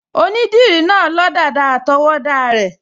Onídìrí náà n lọ dàda àtọwọ́dá rẹ̀